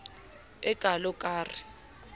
e kalo ka r e